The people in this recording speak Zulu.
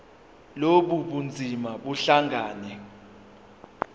lobu bunzima buhlangane